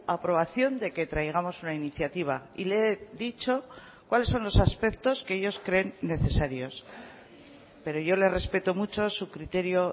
aprobación de que traigamos una iniciativa y le he dicho cuáles son los aspectos que ellos creen necesarios pero yo le respeto mucho su criterio